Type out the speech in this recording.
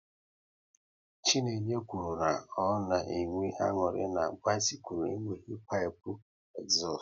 Chinenye kwụrụ na ọ na enwe aṅụrị na bisikul enweghị pipu ezustu